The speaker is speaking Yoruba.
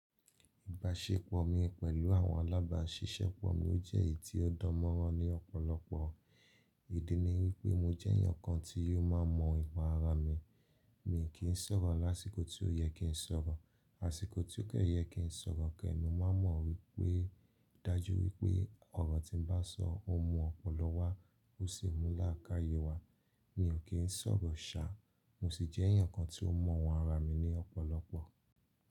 Ìbáṣepọ̀ mi pẹ̀lú àwọn alábáṣiṣẹ́pọ̀ mi ó jẹ́ èyí tí ó dán mọ́rán ní ọ̀pọ̀lọpọ̀. Ìdí ni wípé mo jẹ́ èèyàn kan tí yóò máa mọ ìpa ara mi. Mi kì í sọ̀rọ̀ lásìkò tí ó yẹ kí n sọ̀rọ̀, àsìkò tí ó kẹ́ yẹ kí n sọ̀rọ̀ kẹ́, mo máa mọ̀ wípé dájú wípé ọ̀rọ̀ tí ń bá sọ ó mú ọ̀pọ̀lọ́pọ̀ wá ó sì mú láákàyè wá. Mi ò kí ń sọ̀rọ̀ sá, mo sì jẹ́ èèyàn kan tí ó mọ àwọn ara mi ní ọ̀pọ̀lọpọ̀.